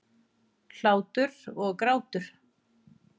Hlátur og grátur.